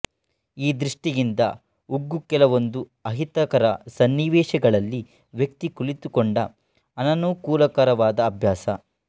ಈ ದೃಷ್ಟಿಯಿಂದ ಉಗ್ಗು ಕೆಲವೊಂದು ಅಹಿತಕರ ಸನ್ನಿವೇಶಗಳಲ್ಲಿ ವ್ಯಕ್ತಿ ಕಲಿತುಕೊಂಡ ಅನನುಕೂಲಕರವಾದ ಅಭ್ಯಾಸ